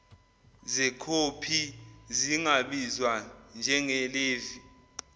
zekhophi zingabizwa njengelevi